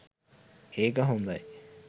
ඒක හොදයි!